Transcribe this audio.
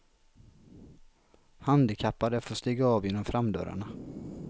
Handikappade får stiga av genom framdörrarna.